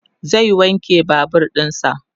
zai wanke Babur ɗinsa